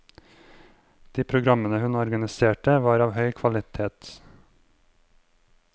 De programmene hun organiserte, var av høy kvalitet.